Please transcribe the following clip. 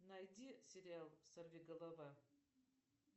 найди сериал сорви голова